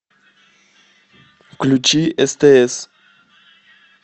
включи стс